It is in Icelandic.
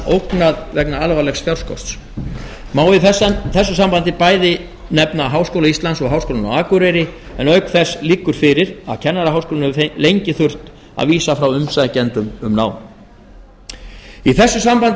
ógnað vegna alvarlegs fjárskorts má í þessu sambandi bæði nefna háskóla íslands og háskólann á akureyri en auk þess liggur fyrir að kennaraháskólinn hefur lengi þurft að vísa frá umsækjendum um nám í þessu sambandi er